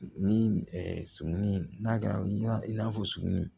Ni sugunɛ n'a kɛra i n'a fɔ suguni